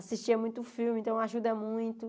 Assistia muito filme, então ajuda muito.